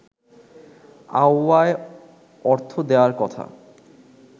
আওয়ায় অর্থ দেয়ার কথা